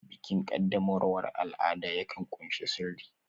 Bikin qaddamarwa al'ada yakan ƙunshi sirri